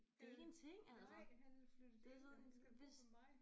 Det nej han er flyttet ind og han skal bo ved mig